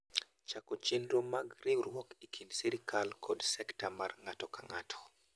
Chako chenro mag riwruok e kind sirkal kod sekta mar ng’ato ka ng’ato.